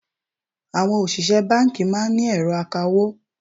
Àwọn òṣìṣẹ́ báńkì máa ń ní ẹ̀rọ akawó.